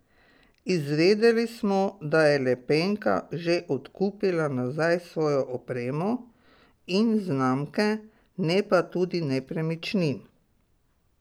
Izvedeli smo, da je Lepenka že odkupila nazaj svojo opremo in znamke, ne pa tudi nepremičnin.